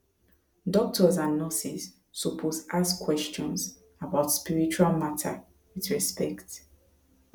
doctors and nurses suppose ask questions about spiritual matter with respect